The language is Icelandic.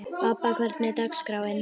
Bobba, hvernig er dagskráin?